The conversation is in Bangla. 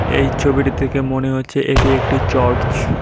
এই ছবিটি দেখে মনে হচ্ছে এটি একটি চর্চ ।